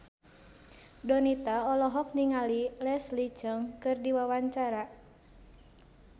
Donita olohok ningali Leslie Cheung keur diwawancara